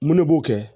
Mun ne b'o kɛ